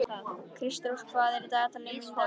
Kristrós, hvað er á dagatalinu mínu í dag?